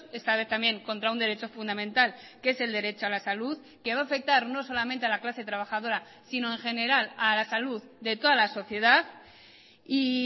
esta vez también contra un derecho fundamental que es el derecho a la salud que va a afectar no solamente a la clase trabajadora sino en general a la salud de toda la sociedad y